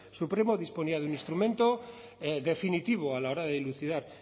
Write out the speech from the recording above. supremo disponía de un instrumento definitivo a la hora de dilucidar